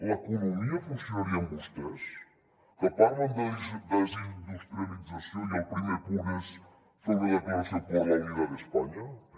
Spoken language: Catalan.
l’economia funcionaria amb vostès que parlen de desindustrialització i el primer punt és fer una declaració por la unidad de españa pero